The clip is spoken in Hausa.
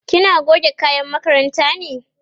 kina goge kayan makaranta ne?